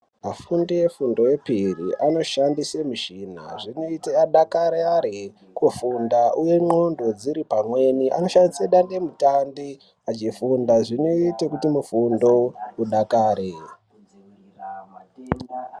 Afundi efundo epiri anoshandise mishina zvinoite adakarare kufunda uye n'ondo dziri pamweni anoshandise dande mutande achifunda zvinoite kuti mifundo idakare.